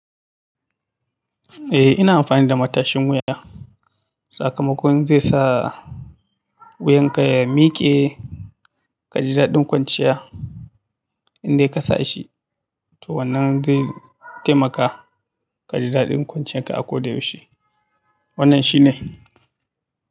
Eh ina amfani da matashin wuya. Sakamakon zai sa, wuyan ka ya miƙe, kaji daɗin kwanciya indai ka sa shi. To wannan zai taimaka, kaji daɗin kwanciyar ka a ko da yaushe, wannan shine.